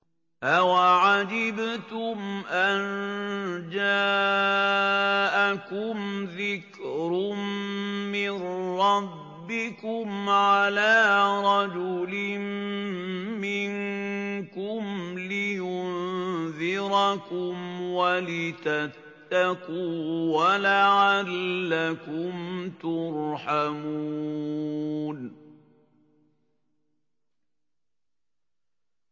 أَوَعَجِبْتُمْ أَن جَاءَكُمْ ذِكْرٌ مِّن رَّبِّكُمْ عَلَىٰ رَجُلٍ مِّنكُمْ لِيُنذِرَكُمْ وَلِتَتَّقُوا وَلَعَلَّكُمْ تُرْحَمُونَ